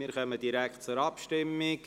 Wir kommen direkt zur Abstimmung.